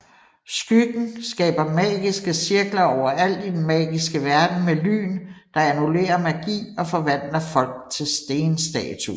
Skyggen skaber magiske cirkler overalt i Den magiske verden med lyn der annullerer magi og forvandler folk til stenstatuer